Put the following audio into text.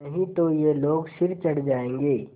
नहीं तो ये लोग सिर चढ़ जाऐंगे